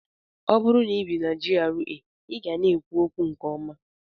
Ọ bụrụ na ibi na GRA, ị ga na-ekwu okwu nke ọma.